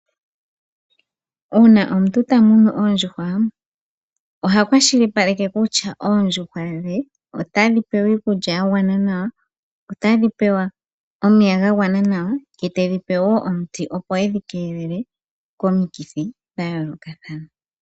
Uuna omuntu ta munu ondjuhwa, oha kwashilipaleke kutya oondjuhwa dhe otadhi pewa iikulya yagwana nawa, otadhi pewa omeya gagwana nawa ye tedhi pe wo omuti opo edhi keelele komikithi dhayoolokathana.